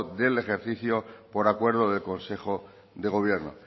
del ejercicio por acuerdo del consejo de gobierno